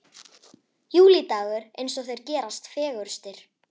Júlídagur eins og þeir gerast fegurstir.